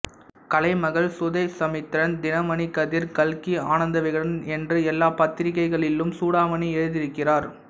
கலைமகள் சுதேசமித்திரன் தினமணிக் கதிர் கல்கி ஆனந்த விகடன் என்று எல்லாப் பத்திரிகைகளிலும் சூடாமணி எழுதியிருக்கிறார்